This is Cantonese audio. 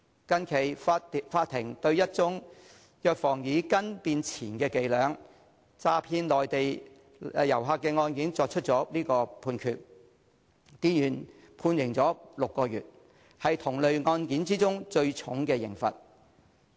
最近，法庭對一宗藥房以"斤"變"錢"的伎倆詐騙內地旅客的案件作出判決，店員被判刑6個月，為同類案件中最重的刑罰。